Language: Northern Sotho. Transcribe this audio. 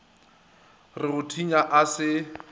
re go thinya a se